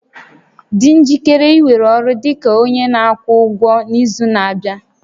Dị njikere iwere ọrụ dị ka onye na-akwụ ụgwọ n'izu na-abịa